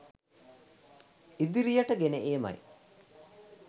ඉදිරියට ගෙන ඒමයි.